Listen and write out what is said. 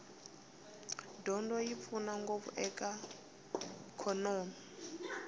dyondzo yi pfuna ngopfu eka swa ikhonomi